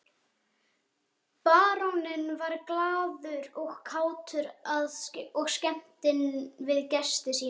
Baróninn var glaður og kátur og skemmtinn við gesti sína.